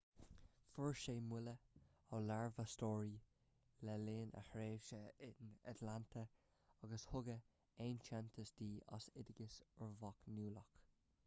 fuair ​​sí moladh ó léirmheastóirí le linn a tréimhse in atlanta agus tugadh aitheantas di as oideachas uirbeach nuálach